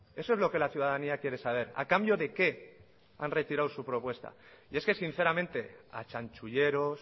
eso es lo que la ciudadanía quiere saber a cambio de qué han retirado su propuesta y es que sinceramente a chanchulleros